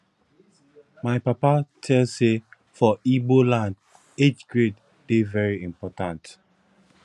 my papa tell sey for igbo land age grade dey very important